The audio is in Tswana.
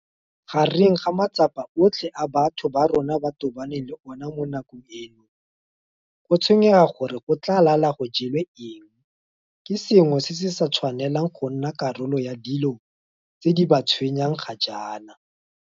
Gare ga matsapa otlhe a batho ba borona ba tobaneng le ona mo nakong eno, go tshwenyega gore go tla lala go jelwe eng ke sengwe seo se sa tshwanelang go nna karolo ya dilo tse di ba tshwenyang ga jaana.